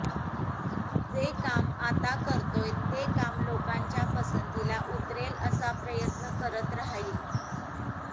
जे काम आता करतोय ते काम लोकांच्या पसंतीला उतरेल असा प्रयत्न करत राहील